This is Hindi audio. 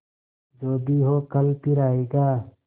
जो भी हो कल फिर आएगा